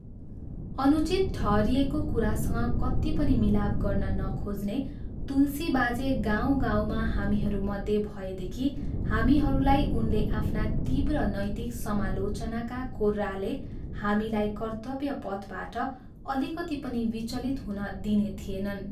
अनुचित ठहरिएको कुरासँग कति पनि मिलाप गर्न नखोज्ने तुलसी बाजे गाउँ गाउँमा हामीहरूमध्ये भएदेखि हामीहरूलाई उनले आफ्ना तीव्र नैतिक समालोचनाका कोर्राले हामीलाई कर्तव्य पथबाट अलिकति पनि विचलित हुन दिने थिएनन्।